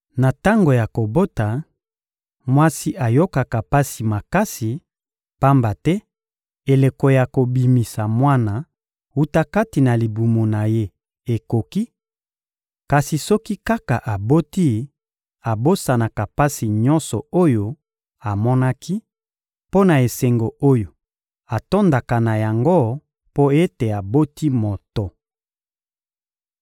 Na tango ya kobota, mwasi ayokaka pasi makasi, pamba te eleko ya kobimisa mwana wuta kati na libumu na ye ekoki; kasi soki kaka aboti, abosanaka pasi nyonso oyo amonaki, mpo na esengo oyo atondaka na yango mpo ete aboti moto.